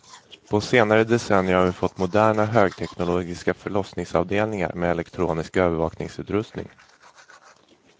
På senare decennier har vi fått moderna högteknologiska förlossningsavdelningar med elektronisk övervakningsutrustning.